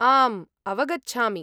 आम्, अवगच्छामि।